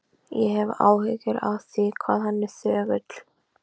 Ég hef áhyggjur af því hvað hann er þögull.